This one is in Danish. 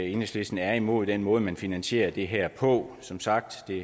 enhedslisten er imod den måde man finansierer det her på som sagt